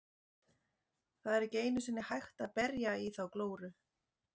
Það er ekki einu sinni hægt að berja í þá glóru.